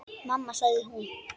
Mamma sagði hún.